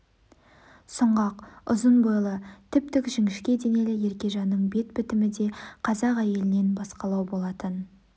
сұңғақ үзын бойлы тіп-тік жіңішке де-нелі еркежанның бет бітімі де қазақ әйелінен басқалау болатын